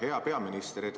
Hea peaminister!